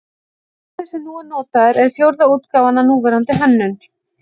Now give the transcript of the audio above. Bikarinn sem nú er notaður er fjórða útgáfan af núverandi hönnun.